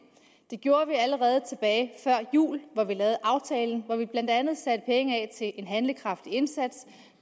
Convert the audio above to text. det gjorde vi allerede tilbage før jul hvor vi lavede aftalen hvor vi blandt andet satte penge af til en handlekraftig indsats